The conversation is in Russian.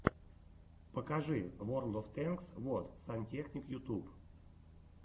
покажи ворлд оф тэнкс вот сантехник ютуб